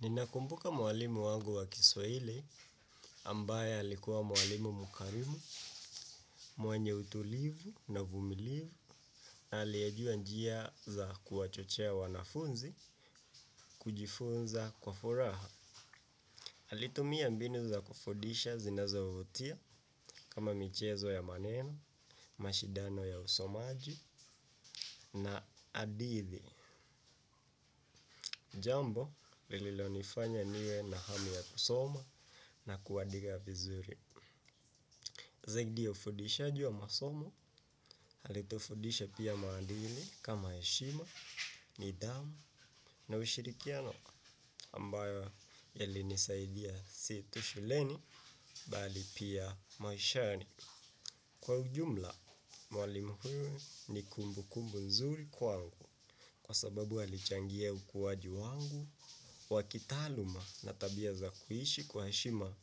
Ninakumbuka mwalimu wangu wa kiswahili ambaye alikuwa mwalimu mkarimu, mwenye utulivu na uvumilivu na aliyejua njia za kuwachochea wanafunzi kujifunza kwa furaha. Alitumia mbinu za kufudisha zinazovutia kama michezo ya maneno, mashindano ya usomaji na hadithi. Jambo lililonifanya niwe na hamu ya kusoma na kuandika vizuri. Zaidi ya ufudishaji wa masomo, alitufundisha pia maadili kama heshima, nidhamu na ushirikiano ambayo yalinisaidia si tu shuleni bali pia maishani. Kwa ujumla, mwalimu huyu ni kumbukumbu nzuri kwangu kwa sababu alichangia ukuwaji wangu wa kitaaluma na tabia za kuishi kwa heshima